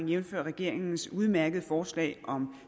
jævnfør regeringens udmærkede forslag om